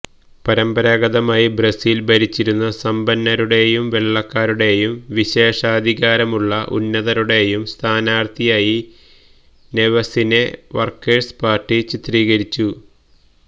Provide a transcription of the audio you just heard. പരമ്പരാഗതമായി ബ്രസീല് ഭരിച്ചിരുന്ന സമ്പന്നരുടേയും വെള്ളക്കാരുടെയും വിശേഷാധികാരമുള്ള ഉന്നതരുടെയും സ്ഥാനാര്ത്ഥിയായി നെവെസിനെ വര്ക്കേഴ്സ് പാര്ട്ടി ചിത്രീകരിച്ചു